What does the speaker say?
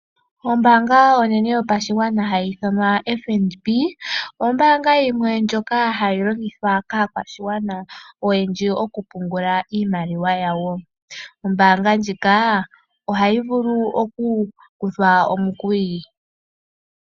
Ombaanga onene yopashigwana hayi ithanwa o FNB, oyo ombaanga yimwe ndyoka hayi longithwa kaakwashigwana oyendji mokupungula iimaliwa yawo. Ombaanga ndjika, ohayi vulu okukuthwa omukuli.